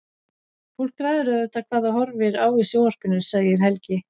Fólk ræður auðvitað hvað það horfir á í sjónvarpinu, segir Helgi.